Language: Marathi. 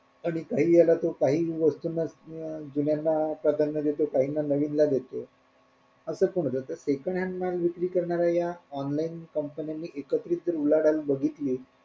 आणि काही ह्याला तो काही वस्तूंना अं जुन्यांना प्राधान्य देतो काहींना नवीनला देतो असं पण होत तर second hand माल विक्री करणाऱ्या ह्या online कंपन्यांनी एकत्रित जर उलाढाल बघितली